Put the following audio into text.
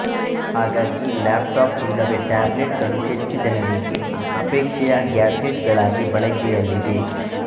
ಹಾಗಾಗಿ laptop ಇಲ್ಲವೇ tablet ಗಳು ಹೆಚ್ಚು ಜನರಿಗೆ ಅಪೇಕ್ಷೆಯ ಗ್ಯಾಡ್ಜೆಟ್ ಗಳಾಗಿ ಬಳಕೆಯಲ್ಲಿವೆ